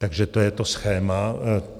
Takže to je to schéma.